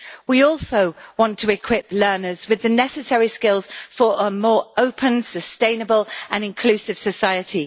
We also want to equip learners with the necessary skills for a more open, sustainable and inclusive society.